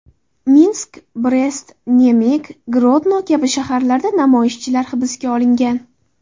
Minsk, Brest, Nemig, Grodno kabi shaharlarda namoyishchilar hibsga olingan.